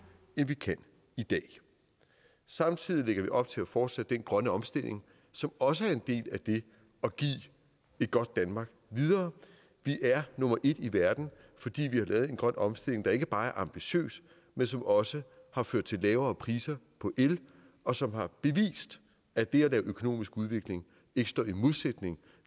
end vi kan i dag samtidig lægger vi op til at fortsætte den grønne omstilling som også er en del af det at give et godt danmark videre vi er nummer et i verden fordi vi har lavet en grøn omstilling der ikke bare er ambitiøs men som også har ført til lavere priser på el og som har bevist at det at lave økonomisk udvikling ikke står i modsætning